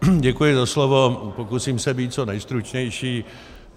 Děkuji za slovo, pokusím se být co nejstručnější.